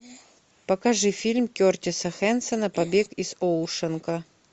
покажи фильм кертиса хэнсона побег из оушенка